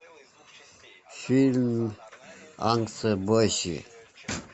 фильм